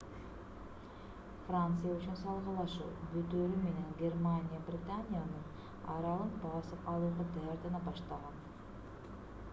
франция үчүн салгылашуу бүтөөрү менен германия британиянын аралын басып алууга даярдана баштаган